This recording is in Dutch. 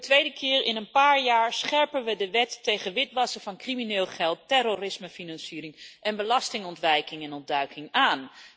Voor de tweede keer in een paar jaar scherpen we de wet tegen witwassen van crimineel geld, terrorismefinanciering en belastingontwijking en —ontduiking aan.